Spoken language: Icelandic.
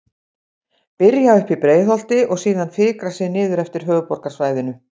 Byrja uppi í Breiðholti og síðan fikra sig niður eftir höfuðborgarsvæðinu.